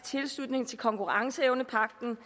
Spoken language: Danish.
tilslutning til konkurrenceevnepagten